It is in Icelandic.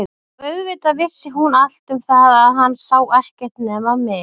Og auðvitað vissi hún allt um það að hann sá ekkert nema mig.